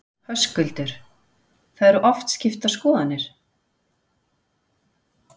Höskuldur: Það eru oft skiptar skoðanir?